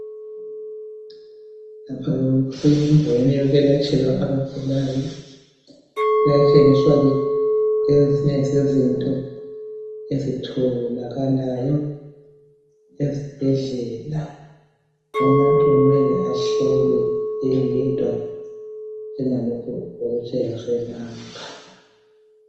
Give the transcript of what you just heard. Lapha kusendaweni yokwelatshelwa abagulayo bayatshengiswa ke ezinye zezinto ezitholakalayo ezibhedlela, umuntu kumele ahlolwe eyedwa njengalokho okutshengiswe lapha.